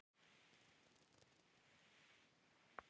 Lúna ætlar að klára að mála af mér myndina og svo förum við.